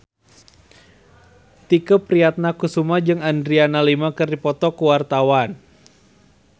Tike Priatnakusuma jeung Adriana Lima keur dipoto ku wartawan